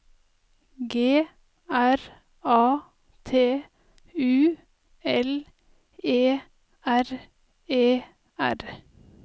G R A T U L E R E R